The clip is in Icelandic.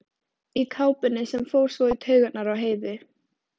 Í kápunni sem fór svo í taugarnar á Heiðu.